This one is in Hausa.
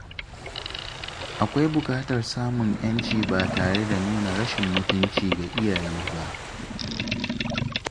Akwai bukatar samun yanci ba tare da nuna rashin mutunci ga iyaye ba.